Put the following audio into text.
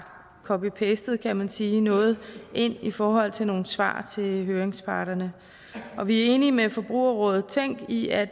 copy pastet kan man sige noget ind i forhold til nogle svar til høringsparterne og vi er enige med forbrugerrådet tænk i at